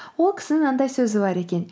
ол кісінің мынандай сөзі бар екен